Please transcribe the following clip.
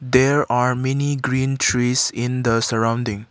there are many green trees in the surrounding.